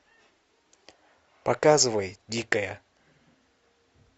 показывай дикая